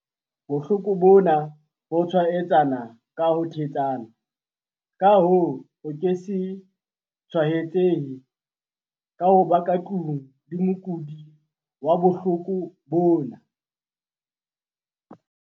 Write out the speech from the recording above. "Bohloko bona, bo tshwaetsana feela ka ho thetsana, ka hoo, o ke se tshwaetsehe ka ho ba ka tlung le mokudi wa bohloko bona,"